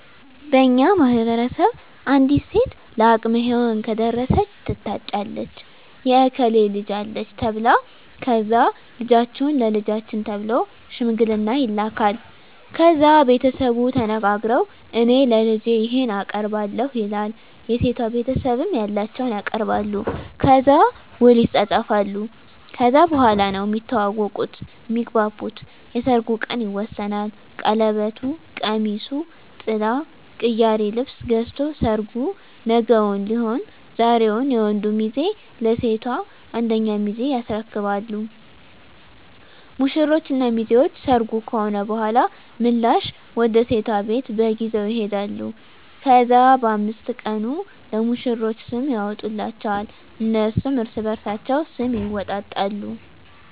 በእኛ ማህበረሰብ አንዲት ሴት ለአቅመ ሄዋን ከደረሰች ትታጫለች የእከሌ ልጅ አለች ተብላ ከዛ ልጃችሁን ለልጃችን ተብሎ ሽምግልና ይላካል። ከዛ ቤተሰቡ ተነጋግረዉ እኔ ለልጄ ይሄን አቀርባለሁ ይላል የሴቷ ቤተሰብም ያላቸዉን ያቀርባሉ። ከዛ ዉል ይፃፃፋሉ ከዛ በኋላ ነዉ እሚተዋወቁት (እሚግባቡት) የሰርጉ ቀን ይወሰናል ቀለበቱ፣ ቀሚሱ፣ ጥላ፣ ቅያሪ ልብስ ገዝቶ ሰርጉ ነገዉን ሊሆን ዛሬዉን የወንዱ ሚዜ ለሴቷ አንደኛ ሚዜ ያስረክባሉ። ሙሽሮች እና ሚዜዎች ሰርጉ ከሆነ በኋላ ምላሽ ወደ ሴቷ ቤት በግ ይዘዉ ይሄዳሉ። ከዛ በ5 ቀኑ ለሙሽሮች ስም ይወጣላቸዋል እነሱም እርስበርሳቸዉ ስም ይወጣጣሉ።